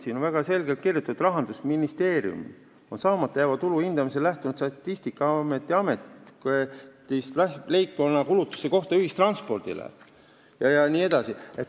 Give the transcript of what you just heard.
Siin on väga selgelt kirjutatud, et Rahandusministeerium on saamata jääva tulu hindamisel lähtunud Statistikaameti andmetest leibkonna kulutuste kohta ühistranspordile jne.